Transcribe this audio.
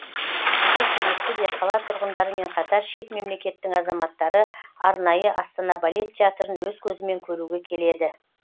сол себепті де қала тұрғындарымен қатар шет мемлекеттің азаматтары арнайы астана балет театрын өз көзімен көруге келеді